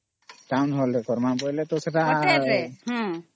Town ହିସାବ ରେ କରମା ବେଳେ ତ ସେଟା